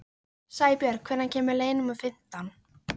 Sæbjörg, hvenær kemur leið númer fimmtán?